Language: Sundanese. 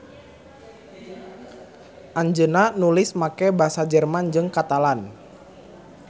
Anjeunna nulis make basa Jerman jeung Katalan.